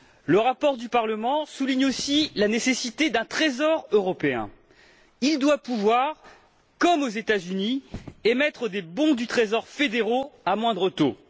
Le rapport du Parlement souligne aussi la nécessité d'un Trésor européen, qui doit pouvoir, comme aux États Unis, émettre des bons du trésor fédéraux à moindre taux.